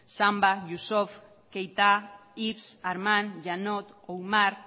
samba youssouf keita ives armand yeannot oumar